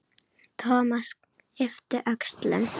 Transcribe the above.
Thomas yppti öxlum.